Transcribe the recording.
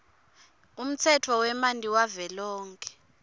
umtsetfo wemanti wavelonkhe